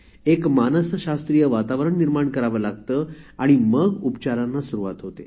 एक मानसशास्त्रीय वातावरण निर्माण करावे लागते आणि मग उपचारांना सुरुवात होते